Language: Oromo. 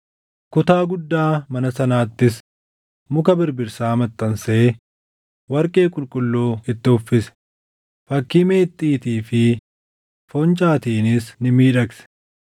Kutaa guddaa mana sanaattis muka birbirsaa maxxansee warqee qulqulluu itti uffise; fakkii meexxiitii fi foncaatiinis ni miidhagse.